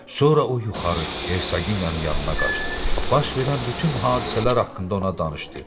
Sonra o yuxarı hersaginyanın yanına qaçdı, baş verən bütün hadisələr haqqında ona danışdı.